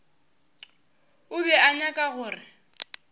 o be a nyaka gore